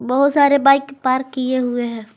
बहुत सारे bike park किए हुए हैं।